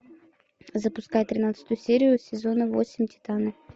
запускай тринадцатую серию сезона восемь титаны